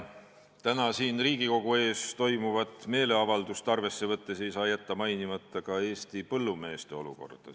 Täna siin Riigikogu ees toimuvat meeleavaldust arvesse võttes ei saa jätta mainimata Eesti põllumeeste olukorda.